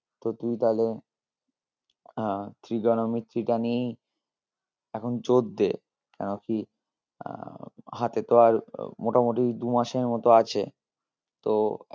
তো তুই তালে আহ trigonometry টা নিয়েই এখন জোর দে কেন কি আহ হাতে তো আর মোটামোটি দু মাসের মত আছে তো